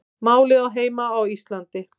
Málið á heima á Íslandi